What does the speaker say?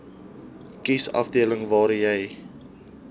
kiesafdeling waar jy